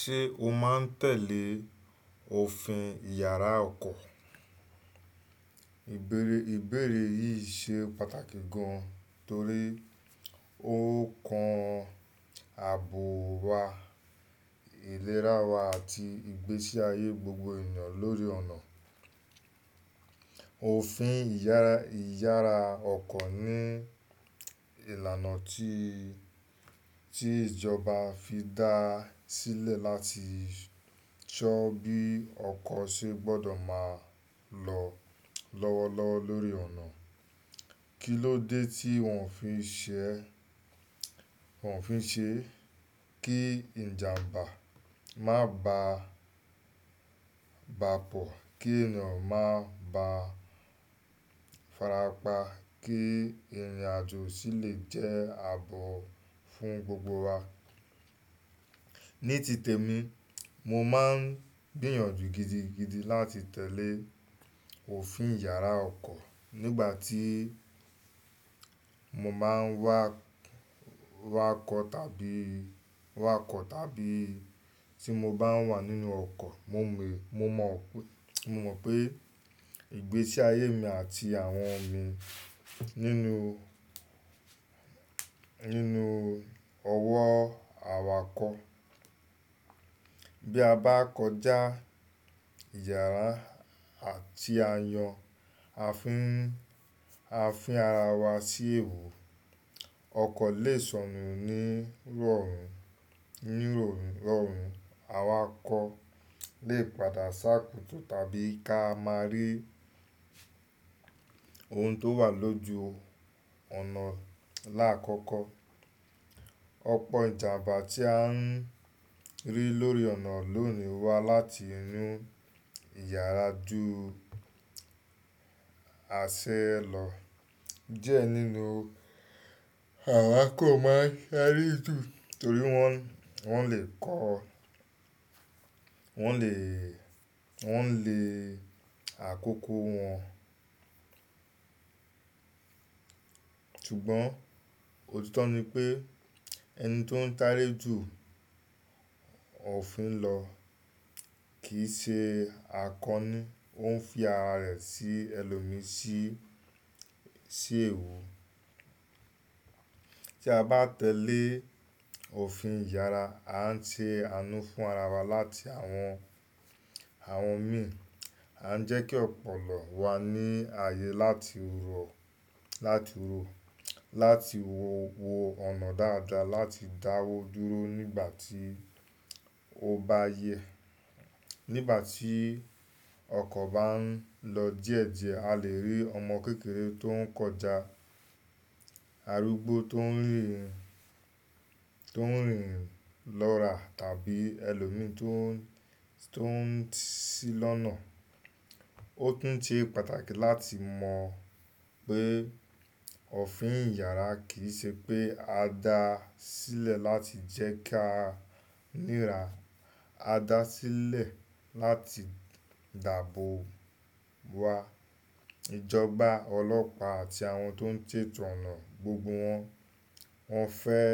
Ṣé o máa ń tẹ̀lé òfin ìyára ọkọ̀? Ìbéèrè yìí ṣe pàtàkì gan, torí ó kan àbò wa, ìlera wa àti ìgbésí ayé gbogbo ènìyàn lórí ọ̀nà. Òfin ìyára ọkọ̀ ní ìlànà tí, tí ìjọba fi dá sílẹ̀ láti ṣọ́ bí ọkọ̀ ṣe gbọ́dọ̀ máa lọ lọ́wọ́lọ́wọ́ lórí ọ̀nà. Kí ló dé tí wọ́n fi ń ṣe, wọ́n fi ń ṣe kí ìjàmbá má bà, bà pò, kí ènìyàn má bà farapa, kí ìrìnàjò sì lè jẹ́ àbò fún gbogbo wa. Ní tìtẹ̀ mi, mo máa ń gbìyànjú gidigidi láti tẹ̀lé òfin ìyára ọkọ̀ nígbà tí mo máa ń wá, wá kọ̀ tàbí wá kọ̀ tàbí tí mo bá wà nínú ọkọ̀. Mo mọ, mo mọ pé, mo mọ pé ìgbésí ayé mi àti àwọn mi nínú, nínú ọwọ́ awakọ̀. Bí a bá kọjá ìyára àti àyàn, a fi ń, a fín ara wa sí èèwu. Ọkọ̀ lè sọnù ní rọrùn, ní rọrùn. Awakọ̀ lè padà sá kùtù tàbí ká máa rí ohun tó wà lójú ọ̀nà láàkọ́kọ́. Ọ̀pọ̀ ìjàmbá tí à ń rí lórí ọ̀nà lónìí wá láti inú ìyára ju àṣẹ lọ. Diẹ nínú awakọ̀ máa ń sáré jù torí wọ́n, wọ́n lè kọ́, wọ́n lè, wọ́n lè àkókò wọn. Ṣùgbọ́n òtítọ́ ni pé ẹni tó ń tàré jù òfin lọ kì í ṣe akọni. Ó ń fi ara rẹ̀ sí ẹlòmí sí, sí èèwọ̀. Tí a bá tẹ̀lé òfin ìyára, à ń ṣe àánú fún ara wa láti àwọn, àwọn mí. À ń jẹ́ kí ọpọlọ wa ní ààyè láti rọ, láti rọ, láti wo, wo ọ̀nà dáadáa, láti dáwọ́ dúró nígbà tí ó bá yẹ. Nígbà tí ọkọ̀ bá ń lọ díẹ̀díẹ̀, a lè rí ọmọ kékeré tó ń kọjá, arúgbó tó ń rìń, tó ń rìń lọ́ra tàbí ẹlòmí tó ń, tó ń ṣí lọ́nà. Ó tún ṣe pàtàkì láti mọ̀ pé òfin ìyára kì í ṣe pé a dá sílẹ̀ láti jẹ́ ká nira. A dá a sílẹ̀ láti dàbò wa. Ìjọba, ọlọ́pàá àti àwọn tó ń tètò ọ̀nà, gbogbo wọ́n, wọ́n fẹ́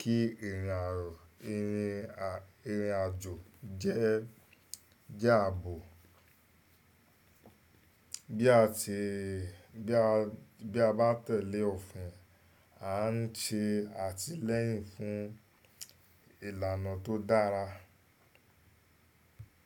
kí ìrìnàjò, ìrìn, ìrìnàjò jẹ́, jẹ́ àbò. Bí a ti, bí a, bí a bá tẹ̀lé òfin, à ń ṣe àtìlẹ́yìn fún ìlànà tó dára.